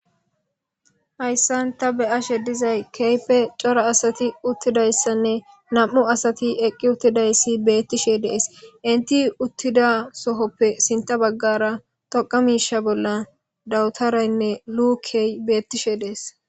Hayssan ta beyashe dizay keype cora asati uttidayssanne nam7u asati eqqi uttidayssi bettishe dees inti uttida sohoppe sinta baggara toqa miisha bolla dawutaraynne lukey beettishe dees.